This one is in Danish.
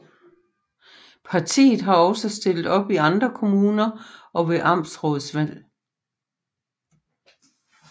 Partiet har også stillet op i andre kommuner og ved amtsrådsvalg